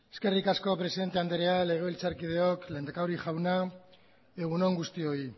eskerrik asko presidente andrea legebiltzarkideok lehendakari jauna egun on guztioi